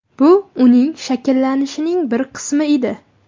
Bu uning shakllanishining bir qismi edi.